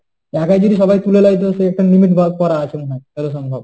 একা যদি সবাই তুলে নেয়, তো সেই জন্য একটা limit ভাগ করা আছে মনে হয় যতদূর সম্ভব।